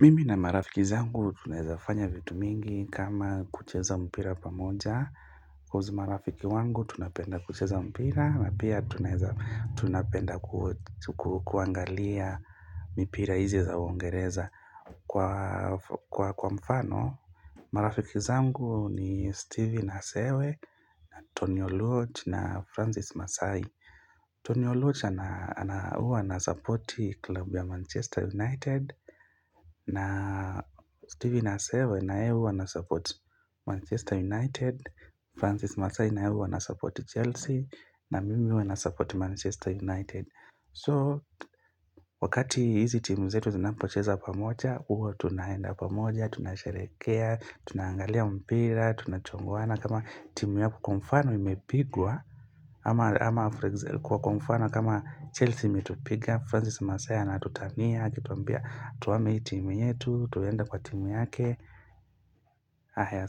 Mimi na marafiki zangu tunawezafanya vitu mingi kama kucheza mpira pamoja marafiki wangu tunapenda kucheza mpira na pia tunapenda kuangalia mipira hizi za uingereza Kwa mfano, marafiki zangu ni Stevie Nasewe, Tony Oloch na Francis Masai Tony Oloch huwa ana support klub ya Manchester United na Stevie Nasewe na yeye huwu anasupport Manchester United Francis Masai na yeye huwa anasupport Chelsea na mimi huwa nasupport Manchester United So wakati hizi timu zetu zinapocheza pamoja Huwa tunaenda pamoja, tunasherehekea, tunaangalia mpira, tunachongoana kama timu yako kwa mfano imepigwa ama kwa mfano kama Chelsea imetupiga Francis Masaya ana tutania, akituambia tuhame hii timu yetu, tuenda kwa timu yake Ahaya